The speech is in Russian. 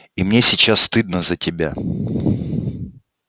и мне сейчас стыдно за тебя